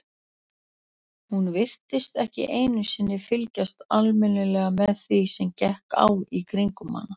Hún virtist ekki einu sinni fylgjast almennilega með því sem gekk á í kringum hana.